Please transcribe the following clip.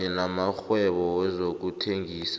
kanye namakghwebo wezokuthengisa